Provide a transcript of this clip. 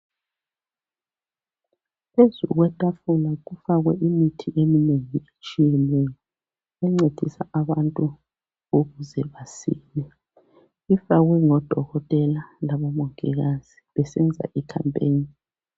phezu kwetafula kufakwe imithi eminengi etshiyeneyo encedisa abantu ukuze besile ifakwe ngodoketela labomongikazi besenza i campaign